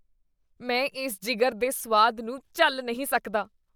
ਮੈਂ ਇਸ ਜਿਗਰ ਦੇ ਸੁਆਦ ਨੂੰ ਝੱਲ ਨਹੀਂ ਸਕਦਾ।